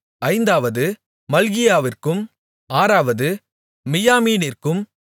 ஐந்தாவது மல்கியாவிற்கும் ஆறாவது மியாமீனிற்கும்